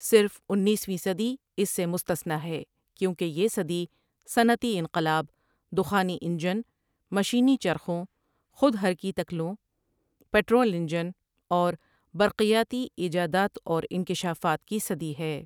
صرف انیسویں صدی اس سے مستثنیٰ ہے کیوں کہ یہ صدی صنعتی انقلاب، دخانی انجن، مشینی چرخوں، خود حرکی تکلوں، پٹرول انجن اور برقیاتی ایجادات اور انکشافات کی صدی ہے ۔